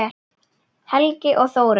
Helgi og Þórunn.